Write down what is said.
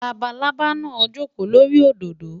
Labalábá náà jókòó lórí òdòdó.